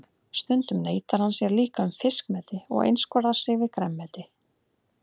Stundum neitar hann sér líka um fiskmeti og einskorðar sig við grænmeti.